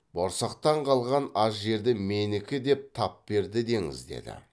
борсақтан қалған аз жерді менікі деп тап берді деңіз деді